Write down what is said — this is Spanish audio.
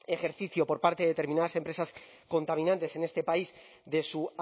ejercicio por parte determinadas empresas contaminantes en este país de su